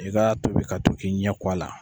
i ka tobi ka to k'i ɲɛ ko a la.